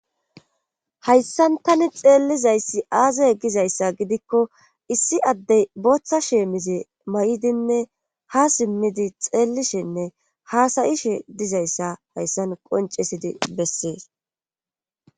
hayssan tani xeellizayssi aaza e gizayssa gidikko issi addey booththa sheemize ma7idinne ha simmidi xeellishenne haasayishe dizayssa hayssan qoncesidi bessees